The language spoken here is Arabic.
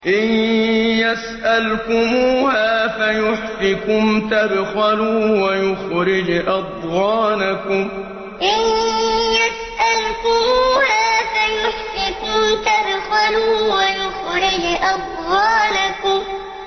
إِن يَسْأَلْكُمُوهَا فَيُحْفِكُمْ تَبْخَلُوا وَيُخْرِجْ أَضْغَانَكُمْ إِن يَسْأَلْكُمُوهَا فَيُحْفِكُمْ تَبْخَلُوا وَيُخْرِجْ أَضْغَانَكُمْ